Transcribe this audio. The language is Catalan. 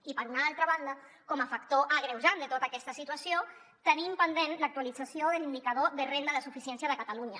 i per una altra banda com a factor agreujant de tota aquesta situació tenim pendent l’actualització de l’indicador de renda de suficiència de catalunya